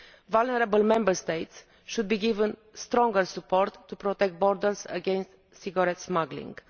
Vulnerable Member States should be given stronger support to protect borders against cigarette smuggling.